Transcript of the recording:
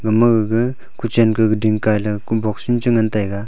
ama gaga kuchen ke kuding kaila ku box unchi ngan taiga.